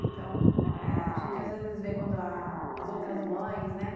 Então eh, a gente às vezes vê quando a as outras mães, né?